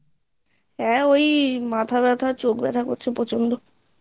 হ্যাঁ ওই মাথা ব্যাথা চোখ ব্যাথা করছে প্রচন্ড